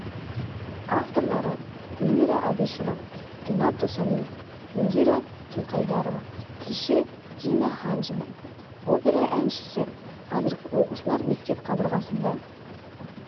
авторлары гүлмира әбішева ренат досалиев индира жылқайдарова тілші дина хамзина опера әншісі қазіргі оқушылар мектеп қабырғасында